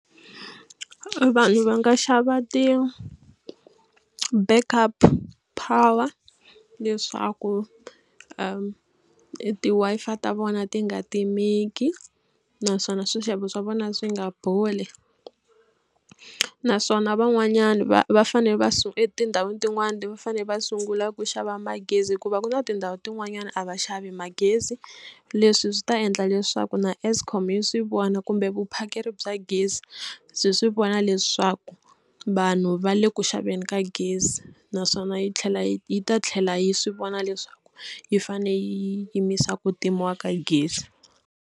Vanhu va nga xava ti-back up power leswaku ti-Wi-Fi ta vona ti nga timeka naswona swixevo swa vona swi nga boli naswona van'wanyani va va fanele va etindhawini tin'wana ti va fanele va sungula ku xava magezi hikuva ku na tindhawu tin'wanyana a va xavi magezi. Leswi swi ta endla leswaku na Eskom yi swi vona kumbe vuphakeri bya gezi byi swi vona leswaku vanhu va le ku xaveni ka gezi naswona yi tlhela yi yi ta tlhela yi swi vona leswaku yi fanele yi yimisa ku ntimiwa ka gezi.